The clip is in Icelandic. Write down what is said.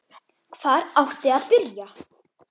HVAR ÁTTI AÐ BYRJA?